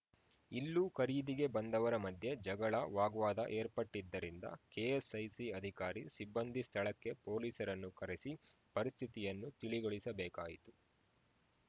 ಇಲ್ಲೂ ಖರೀದಿಗೆ ಬಂದವರ ಮಧ್ಯೆ ಜಗಳ ವಾಗ್ವಾದ ಏರ್ಪಟ್ಟಿದ್ದರಿಂದ ಕೆಎಸ್‌ಐಸಿ ಅಧಿಕಾರಿ ಸಿಬ್ಬಂದಿ ಸ್ಥಳಕ್ಕೆ ಪೊಲೀಸರನ್ನು ಕರೆಸಿ ಪರಿಸ್ಥಿತಿಯನ್ನು ತಿಳಿಗೊಳಿಸಬೇಕಾಯಿತು